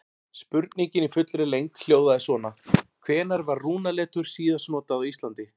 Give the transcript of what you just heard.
Spurningin í fullri lengd hljóðaði svona: Hvenær var rúnaletur síðast notað á Íslandi?